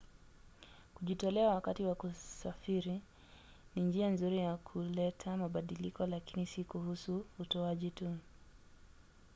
kujitolea wakati wa kusafiri ni njia nzuri ya kuleta mabadiliko lakini si kuhusu utoaji tu